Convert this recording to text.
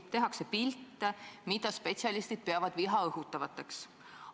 Tehakse ka pilte, mida spetsialistid peavad viha õhutavateks.